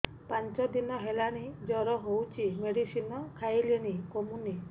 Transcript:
ପାଞ୍ଚ ଦିନ ହେଲାଣି ଜର ହଉଚି ମେଡିସିନ ଖାଇଲିଣି କମୁନି